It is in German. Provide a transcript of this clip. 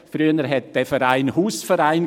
Früher hiess dieser Verein Hausverein.